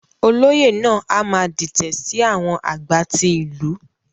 Olóyè náà a má dìtẹ sí àwọn agbá tí ìlú.